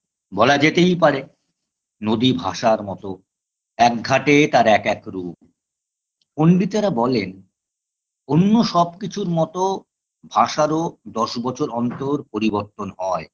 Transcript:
বলা যেতেই পারে নদী ভাষার মতো একঘাটে তার এক এক রূপ পন্ডিতেরা বলেন অন্য সবকিছুর মতো ভাষারও দশ বছর অন্তর পরিবর্তন হয়